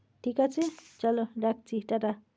ঠিক আছে? চলো, রাখছি। ta ta